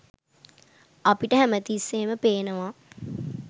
අපිට හැමතිස්සේම පේනවා